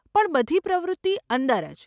પણ બધી પ્રવૃત્તિ અંદર જ.